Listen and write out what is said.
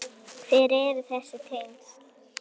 Hver eru þessi tengsl?